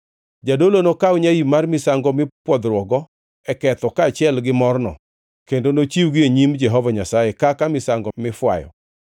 Jadolo nokaw nyaim mar misango mipwodhruokgo e ketho kaachiel gi morno, kendo nochiwgi e nyim Jehova Nyasaye kaka misango mifwayo.